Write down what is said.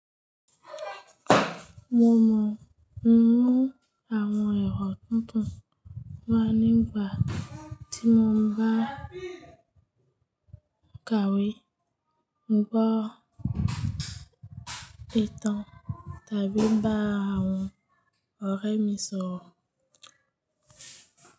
Mo mọ̀, mo mú àwọn ero tuntun wá nígbà tí mo ń bá ń ka ìwé, ń gbọ́ ìtàn tàbí ń bá àwọn ọ̀rẹ́ mi sọ̀rọ̀.